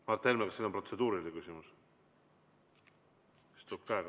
Mart Helme, kas teil on protseduuriline küsimus?